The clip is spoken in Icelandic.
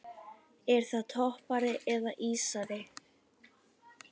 Er það toppari eða ísari?